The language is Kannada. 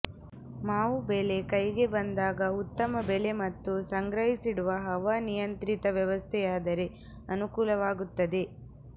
ಮಾವು ಬೆಳೆ ಕೈಗೆ ಬಂದಾಗ ಉತ್ತಮ ಬೆಲೆ ಮತ್ತು ಸಂಗ್ರಹಿಸಿಡುವ ಹವಾನಿಯಂತ್ರಿತ ವ್ಯವಸ್ಥೆಯಾದರೆ ಅನಕೂಲವಾಗುತ್ತದೆ